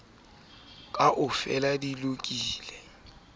ditshwantshiso o ka qaboha ha